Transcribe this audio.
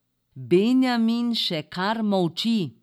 Benjamin še kar molči.